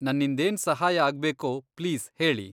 ನನ್ನಿಂದೇನ್ ಸಹಾಯ ಆಗ್ಬೇಕೋ ಪ್ಲೀಸ್ ಹೇಳಿ.